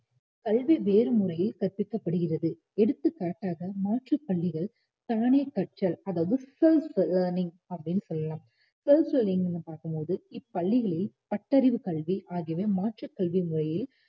கல்வி வேறு முறையில் கற்பிக்கப்படுகிறது எடுத்துக் காட்டாக மாற்றுப் பள்ளிகள் தானே கற்றல் அதாவது self learning அப்படின்னு சொல்லலாம் self learning னு பார்க்கும் போது இப்பள்ளிகளில் பட்டறிவுக் கல்வி ஆகியவை மாற்றுக் கல்வி முறையில்